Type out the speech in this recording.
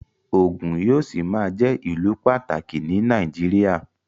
Ògùn yóò ṣì máa jẹ́ ìlù pàtàkì ní Nàìjíríà